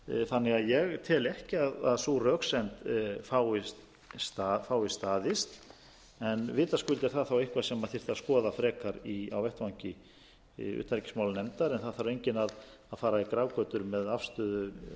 þannig að ég tel ekki að sú röksemd fái staðist en vitaskuld er það þá eitthvað sem þyrfti að skoða frekar á vettvangi utanríkismálanefndar en það þarf enginn að fara í grafgötur með afstöðu